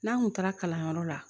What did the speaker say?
N'an kun taara kalanyɔrɔ la